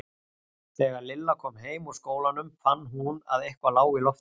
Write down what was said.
Þegar Lilla kom heim úr skólanum fann hún að eitthvað lá í loftinu.